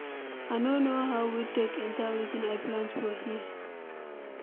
I no know how weed take enter wetin I plant for here.